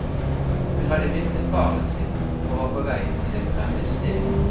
Hun hadde mistet faren sin og var på vei til et fremmed sted.